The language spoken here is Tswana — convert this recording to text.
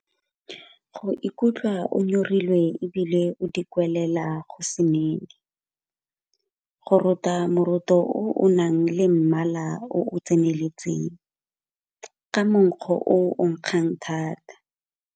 Go ikutlwa o nyorilwe e bile o dikwelela go se nene. Go rota moroto o o nang le mmala o o tseneletseng, ka monkgo o o nkgang thata.